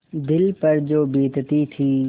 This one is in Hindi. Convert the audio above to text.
दिल पर जो बीतती थी